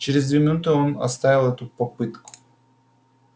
через две минуты он оставил эту попытку